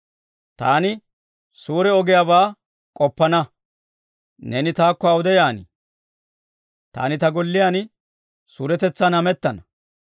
Taani suure ogiyaabaa k'oppana. Neeni taakko awude yaan? Taani ta golliyaan suuretetsan hamettana.